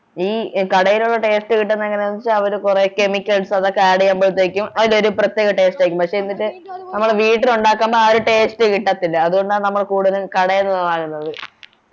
ഈ കടയിലുള്ള taste കിട്ടന്നതെങ്ങനെയാണെന്നു വച്ചാൽ അവര് കൊറേ chemicals അതൊക്കെ add ചെയ്യുമ്പോളത്തേക്കും അതിനൊരു പ്രത്യേക taste ആയിരിക്കും പക്ഷെ എന്നിട്ട് നമ്മള് വീട്ടിലുണ്ടക്കുമ്പോ ആ ഒരു taste കിട്ടത്തില്ല അതുകൊണ്ടാണ് കൂടുതലും കടേന്നു വാങ്ങുന്നത്